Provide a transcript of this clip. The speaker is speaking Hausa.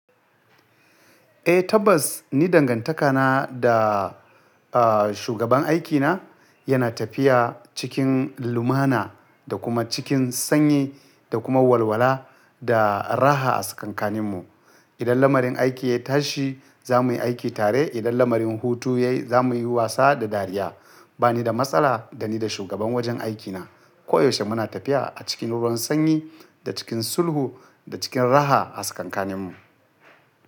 Eh tabbas ni dangantakana da, ah, shugaban aikina yana tafiya cikin lumana da kuma cikin sanyi da kuma walwala da raha a tsakan kanin mu. Idan lamarin aiki ya tashi za mu yi aiki tare, idan lamarin hutu ya yi za mu yi wasa da dariya. Ba ni da matsala da ni da shugaban wajen aikina. Koyaushe muna tafiya a cikin ruwan sanyi da cikin sulhu da cikin raha a tsakan kanin mu.